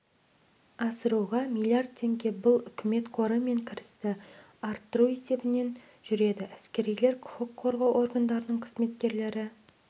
асыруға миллиард теңге бұл үкімет қоры мен кірісті арттыру есебінен жүреді әскерилер құқық қорғау органдарының қызметкерлері